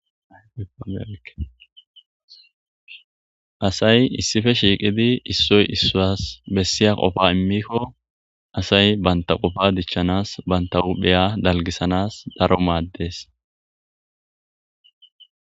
Asay issife shiiqidi issoy issaas bessiya qofa immikko asay bantaqofa dichchanas bantaupheya dalgisanas daro maaddees.